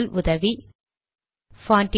முதல் உதவி பான்ட்